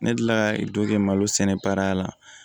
Ne delila ka kɛ malo sɛnɛ baara la